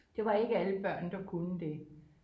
Det var ikke alle børn det kunne det